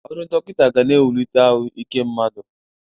Ọrụ dọkịnta ga na-ewulite ahụ ike mmadụ.